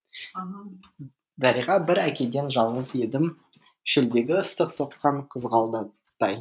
дариға бір әкеден жалғыз едім шөлдегі ыстық соққан қызғалдақтай